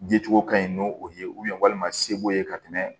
Yecogo ka ɲi n'o ye walima se b'o ye ka tɛmɛ